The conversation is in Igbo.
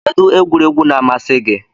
Kedu egwuregwu na-amasị gị?